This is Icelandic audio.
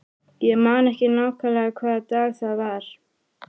Ég man ekki nákvæmlega hvaða dag það var.